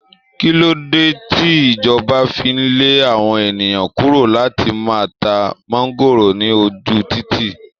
Kí ló dé tí ìjọba fi ń lé àwọn ènìyàn kúrò láti má ta máńgóòrò ní ojú títì?